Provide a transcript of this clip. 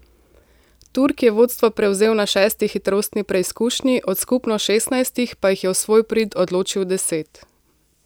Turk je vodstvo prevzel na šesti hitrostni preizkušnji, od skupno šestnajstih pa jih je v svoj prid odločil deset.